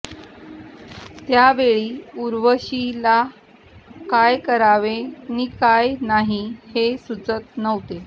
त्यावेळी उर्वशी ला काय करावे नी काय नाही हे सुचत नव्हते